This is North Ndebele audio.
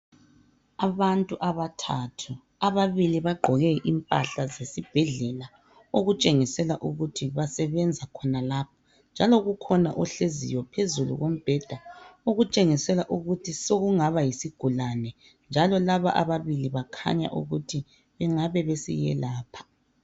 Abantu abathathu ababili bagqoke impahla zesibhedlela okutshengisela ukuthi basebenza khona lapha njalo kukhona ohleziyo phezulu kombheda okutshengisela ukut sokungaba yisigulane njalo laba ababili bakhanya ukuthi bengabe besiyelapha